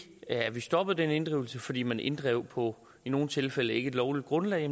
at vi stoppede den inddrivelse fordi man inddrev på i nogle tilfælde ikkelovligt grundlag